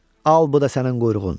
Al bu da sənin quyruğun.